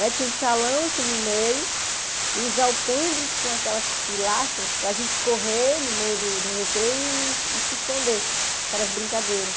Tinha um salão assim no meio e os alpendres com aquelas pilastras para a gente correr no meio do do recreio e se esconder, que eram as brincadeiras.